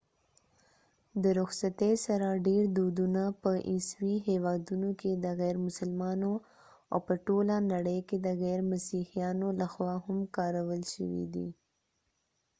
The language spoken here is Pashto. د رخصتۍ سره ډیر دودونه په عیسوي هیوادونو کې د غير مسلمانو او په ټوله نړۍ کې د غیر مسیحیانو لخوا هم کارول شوي دي